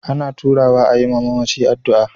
Ana taruwa a yi wa mamaci addu'a.